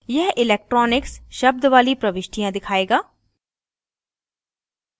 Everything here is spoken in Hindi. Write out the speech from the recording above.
यह electronics शब्द वाली प्रविष्टियाँ दिखायेगा